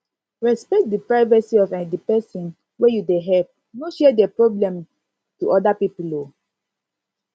respect di privacy of um di person wey you dey help no share their problem to oda pipo um